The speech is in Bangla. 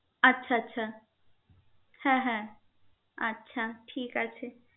আচ্ছা আচ্ছা হ্যা হ্যা আচ্ছা ঠিক আছে